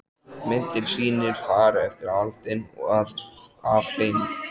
Myndin sýnir far eftir aldin af hlyni.